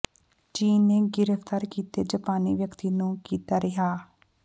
ਚੀਨ ਨੇ ਗ੍ਰਿਫਤਾਰ ਕੀਤੇ ਜਾਪਾਨੀ ਵਿਅਕਤੀ ਨੂੰ ਕੀਤਾ ਰਿਹਾਅ